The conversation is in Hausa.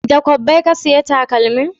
Da kwabbai ka saya takalmin?